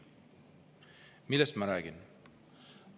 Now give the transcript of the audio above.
Millest ma räägin?